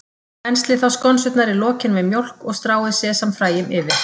Penslið þá skonsurnar í lokin með mjólk og stráið sesamfræjum yfir.